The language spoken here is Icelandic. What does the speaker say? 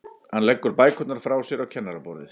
Hann leggur bækurnar frá sér á kennaraborðið.